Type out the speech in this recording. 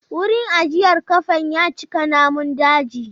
Wurin ajiyar kafen ya cika namun daji.